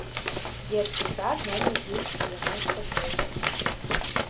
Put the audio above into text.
детский сад номер двести девяносто шесть